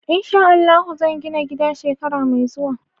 In sha Allahu zan gina gida shekara mai zuwa.